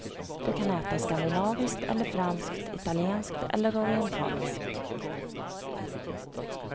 Du kan äta skandinaviskt eller franskt, italienskt eller orientaliskt.